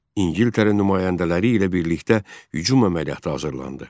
İngiltərə nümayəndələri ilə birlikdə hücum əməliyyatı hazırlandı.